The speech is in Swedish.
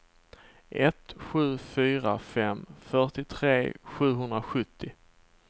ett sju fyra fem fyrtiotre sjuhundrasjuttio